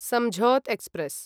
Samjhauta express